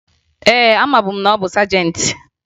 Ee, amabu m na ọ bụ sajentị